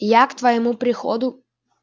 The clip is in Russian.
я к твоему приходу